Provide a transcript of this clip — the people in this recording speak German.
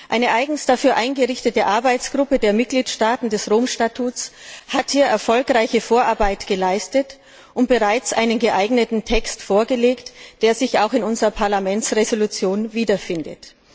Eine eigens dafür eingerichtete Arbeitsgruppe der Mitgliedstaaten des Römischen Statuts hat hier erfolgreiche Vorarbeit geleistet und bereits einen geeigneten Text vorgelegt, der sich auch in unserer Entschließung wiederfindet.